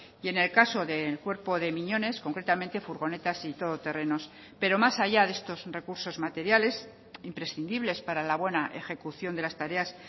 y en el caso del cuerpo de miñones concretamente furgonetas y todo terrenos pero más allá de estos recursos materiales imprescindibles para la buena ejecución de las tareas